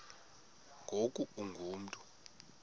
ngoku ungu mntu